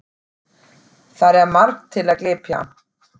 Þar er margt til að glepja.